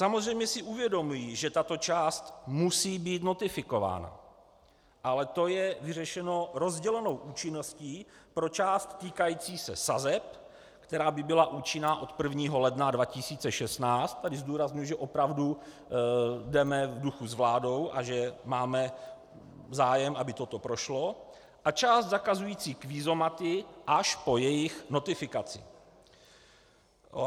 Samozřejmě si uvědomuji, že tato část musí být notifikována, ale to je vyřešeno rozdílnou účinností pro část týkající se sazeb, která by byla účinná od 1. ledna 2016 - tady zdůrazňuji, že opravdu jdeme v duchu s vládou a že máme zájem, aby toto prošlo - a část zakazující kvízomaty až po jejich notifikaci.